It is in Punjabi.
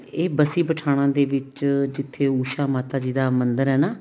ਇਹ ਬਸੀ ਪਠਾਣਾ ਦੇ ਵਿੱਚ ਜਿੱਥੇ ਉਸ਼ਾ ਮਾਤਾ ਜੀ ਦਾ ਮੰਦਿਰ ਏ ਨਾ